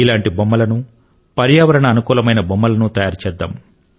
ఇటువంటి బొమ్మలను పర్యావరణానికి అనుకూలమైన బొమ్మలను తయారు చేద్దాము